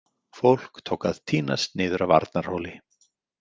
Fólk tók að tínast niður af Arnarhóli.